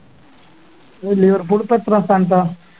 ഈ ലിവർപൂൾ ഇപ്പൊ എത്രാം സ്ഥാനത്താ